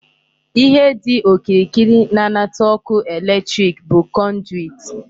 Ihe dị okirikiri na-anata ọkụ electric bụ conduit.